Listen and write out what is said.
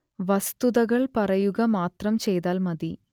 വസ്തുതകൾ പറയുക മാത്രം ചെയ്താൽ മതി